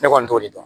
Ne kɔni t'o de dɔn